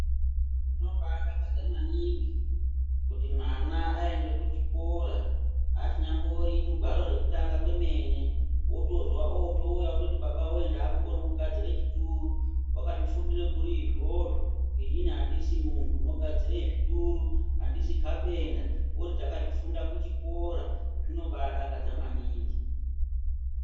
Zvinobadakadza maningi kuti mwana aenda kuchikora achinyambori mugwaro rekutanga kwemene otozwa otouya oti baba woye ndakukone kugadzire chituru. Wakazvifundire kuti izvozvo inini andisi muntu unogadzire zvituru. Andis khapenda. Oti takazvifunda kuchikora. Zvinobadakadza maningi.